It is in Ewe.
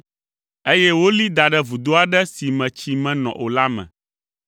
eye wolée da ɖe vudo aɖe si me tsi menɔ o la me.